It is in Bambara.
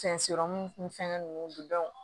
Fɛn sirɔmu ni fɛngɛ ninnu